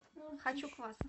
хочу квас